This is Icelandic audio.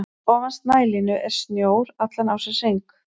Fyrir ofan snælínu er snjór allan ársins hring.